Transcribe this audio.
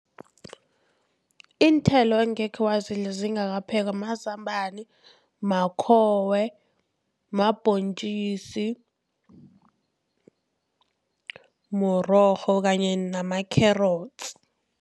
Iinthelo engekhe wazidla zingakaphekwa mazambana, makhowe, mabhontjisi, mrorho kanye nama-carrots.